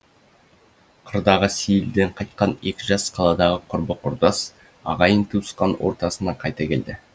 қырдағы сейілден қайтқан екі жас қаладағы құрбы құрдас ағайын туысқан ортасына қайта келді